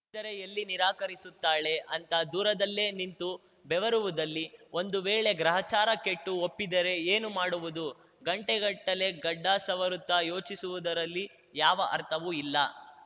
ದರೆ ಎಲ್ಲಿ ನಿರಾಕರಿಸುತ್ತಾಳೆ ಅಂತ ದೂರದಲ್ಲೆ ನಿಂತು ಬೆವರುವುದರಲ್ಲಿ ಒಂದು ವೇಳೆ ಗ್ರಹಚಾರ ಕೆಟ್ಟು ಒಪ್ಪಿದರೇ ಏನು ಮಾಡುವುದು ಗಂಟೆಗಟ್ಟಲೆ ಗಡ್ಡ ಸವರುತ್ತಾ ಯೋಚಿಸುವುದರಲ್ಲಿ ಯಾವ ಅರ್ಥವೂ ಇಲ್ಲ